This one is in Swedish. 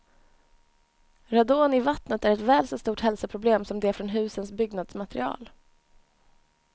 Radon i vattnet är ett väl så stort hälsoproblem som det från husens byggnadsmaterial.